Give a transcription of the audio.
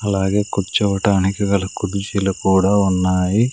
అలాగే కూర్చోవటానికి గల కుర్జీలు కూడా ఉన్నాయి.